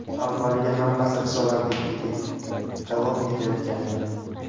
Avvaliga hammasi risoladagidek davom etayotgandi.